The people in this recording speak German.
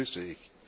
Das begrüße ich.